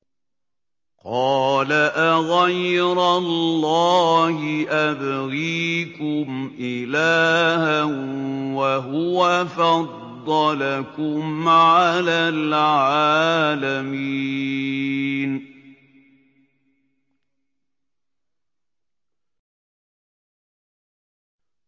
قَالَ أَغَيْرَ اللَّهِ أَبْغِيكُمْ إِلَٰهًا وَهُوَ فَضَّلَكُمْ عَلَى الْعَالَمِينَ